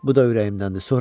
Bu da ürəyimdəndi.